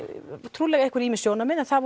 trúlega voru ýmis sjónarmið en það